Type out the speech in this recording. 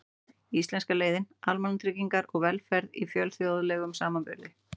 Íslenska leiðin: Almannatryggingar og velferð í fjölþjóðlegum samanburði.